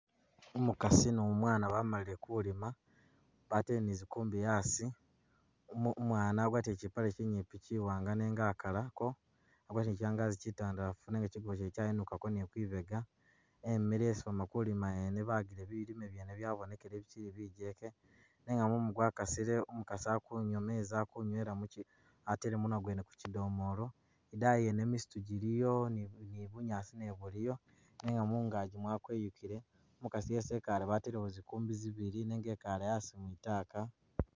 Umukasi ni umwana bamalile kulima batele ni’zikumbi asii, umwana agwatile kyipale kyinyipi kyiwanga nenga akalako , agwatile kyangazi kyitandalafu nenga kyigubo kyene kyayinukako ni’kwibega , imile isii bakulima ene bagile bilimwa byabonekele bikyili bijeke, nenga mumu gwakasile umukasi akunywa mezi atele munwa gwene ku’kyidomolo , idayi nyene misitu jiliyo ni bunyaasi nabwo buliyo bwakweyukile , umukasi isi’ikale batelewo zikumbi zibili nenga ikale mwitaaka.